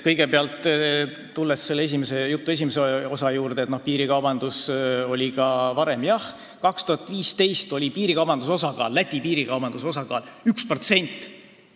Mis puutub teie jutu esimeses osas märgitusse, et piirikaubandus oli ka varem, siis jah, aastal 2015 oli Läti piirikaubanduse osakaal 1%.